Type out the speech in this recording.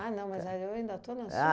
Ah, não, mas aí eu ainda estou na sua